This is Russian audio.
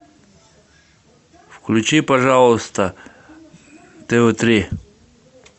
включи пожалуйста тв три